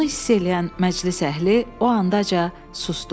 Bunu hiss eləyən məclis əhli o andaca susdu.